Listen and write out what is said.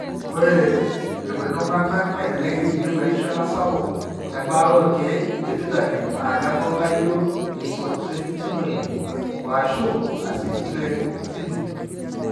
Ore irkuti tung'anak elelek eyieu erishata sapuk embaata orkeek lefitamin A lenkutuk laijio eisotretinoin oashu acitretin.